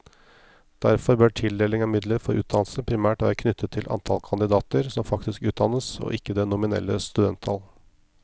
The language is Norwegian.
Derfor bør tildeling av midler for utdannelse primært være knyttet til antall kandidater som faktisk utdannes, og ikke det nominelle studenttall.